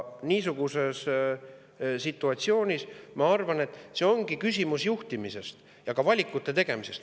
Niisuguses situatsioonis ma arvan, et see ongi küsimus juhtimisest ja ka valikute tegemisest.